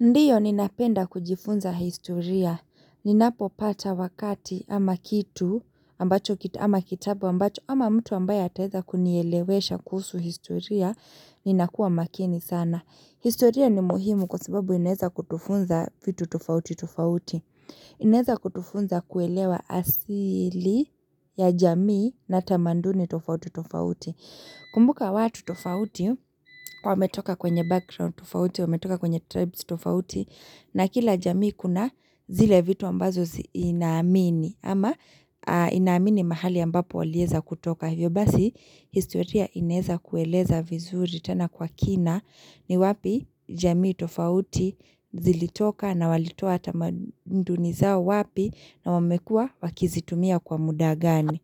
Ndiyo ninapenda kujifunza historia. Ninapo pata wakati ama kitabu ambacho ama mtu ambayo ataeza kunielewesha kusu historia. Ninakuwa makini sana. Historia ni muhimu kwa sababu ineza kutufunza vitu tofauti tofauti. Ineza kutufunza kuelewa asili ya jamii na tamanduni tofauti tofauti. Kumbuka watu tofauti, wame toka kwenye background tofauti, wame toka kwenye tribes tofauti, na kila jamii kuna zile vitu ambazo inaamini ama inaamini mahali ambapo walieza kutoka. Hivyo basi, historia ineza kueleza vizuri tena kwa kina ni wapi jamii tofauti zilitoka na walitoa tamandunizao wapi na wamekua wakizitumia kwa mudagani.